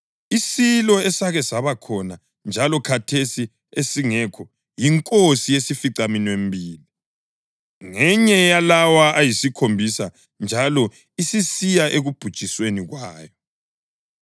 Isilo esake saba khona njalo khathesi esingasekho yinkosi yesificaminwembili. Ngenye yalawo ayisikhombisa njalo isisiya ekubhujisweni kwayo.